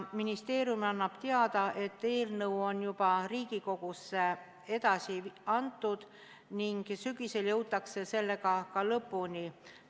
Ministeerium annab teada, et eelnõu on juba Riigikogusse edasi antud ning sügisel jõutakse sellega ka lõpule.